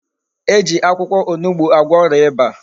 E ji akwukwo onugbu agwo oria Iba